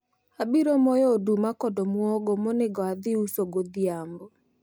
abiro moyo oduma kod omuogo monego adhi uso godhiambo